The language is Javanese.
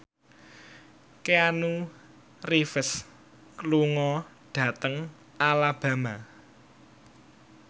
Keanu Reeves lunga dhateng Alabama